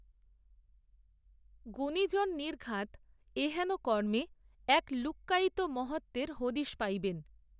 গুণিজন নির্ঘাত এহেন কর্মে এক লুক্কায়িত মহত্ত্বের হদিশ পাইবেন